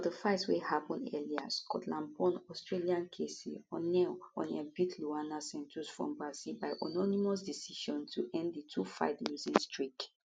for di fights wey happun earlier scotlandborn australian casey oneill oneill beat luana santos from brazil by unanimous decision to end di twofight losing streak